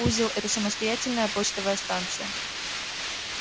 узел это самостоятельная почтовая станция